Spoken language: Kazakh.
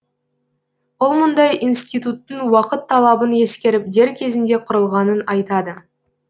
ол мұндай институттың уақыт талабын ескеріп дер кезінде құрылғанын айтады